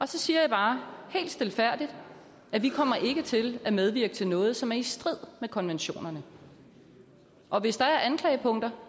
så siger jeg bare helt stilfærdigt vi kommer ikke til at medvirke til noget som er i strid med konventionerne og hvis der er anklagepunkter